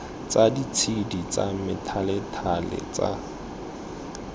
tsa ditshedi tsa methalethale tsa